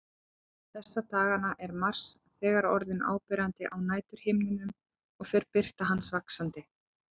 Þessa dagana er Mars þegar orðinn áberandi á næturhimninum og fer birta hans vaxandi.